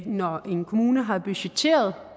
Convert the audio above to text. når en kommune har budgetteret